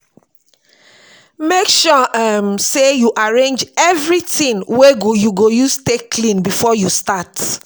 mek sure um sey yu arrange evritin wey yu go use take clean bifor yu start